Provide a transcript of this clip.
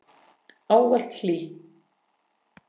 Ávallt hlý.